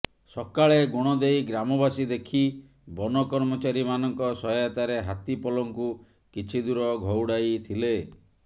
ସକାଳେ ଗୁଣଦେଈ ଗ୍ରାମବାସୀ ଦେଖି ବନ କର୍ମଚାରୀମାନଙ୍କ ସହାୟତାରେ ହାତୀ ପଲଙ୍କୁ କିଛି ଦୂର ଘଉଡାଇଥିଲେ